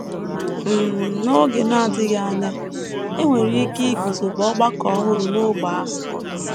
um N’oge na - adịghị anya, e nwere ike iguzobe ọgbakọ ọhụrụ n’ógbè ahụ.